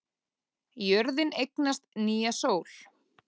Jörðin eignast nýja sól